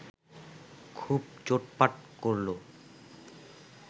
খুব চোটপাট করল